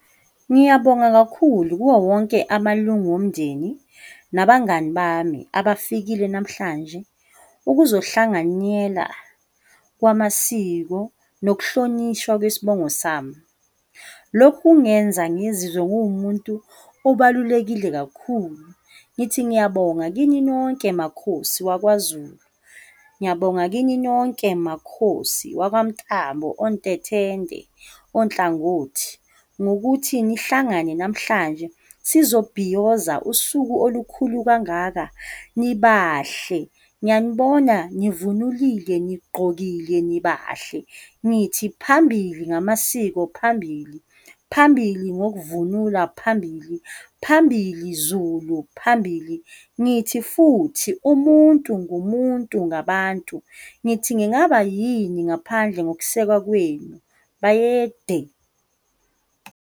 Ngiyabonga kakhulu kuwo wonke amalungu omndeni nabangani bami abafikile namhlanje ukuzohlanganyela kwamasiko nokuhlonishwa kwesibongo sami. Lokhu kungenza ngizizwe nguwumuntu obalulekile kakhulu. Ngithi ngiyabonga kini nonke makhosi wakwaZulu, ngiyabonga kini nonke makhosi wakwaMntambo, oNtethende, oNhlangothi, ngokuthi nihlangane namhlanje sizobhiyoza usuku olukhulu kangaka, nibahle, ngiyanibona nivunulile, nigqokile, nibahle, ngithi phambili ngamasiko phambili, phambili ngokuvula phambili, phambili Zulu phambili, ngithi futhi umuntu ngumuntu ngabantu, ngithi ngingaba yini ngaphandle ngokusekwa kwenu, bayede.